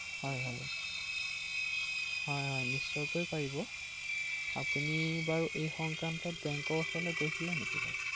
তালৈ নিম নিয়াৰ কথা ভাবি আছো ৷